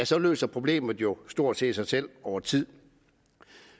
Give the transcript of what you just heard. så løser problemet jo stort set sig selv over tid